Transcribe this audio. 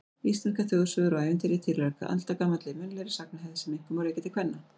Íslenskar þjóðsögur og ævintýri tilheyra aldagamalli munnlegri sagnahefð sem einkum má rekja til kvenna.